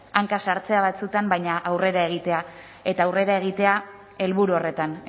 hanka sartzea batzuetan baina aurrera egitea eta aurrera egitea helburu horretan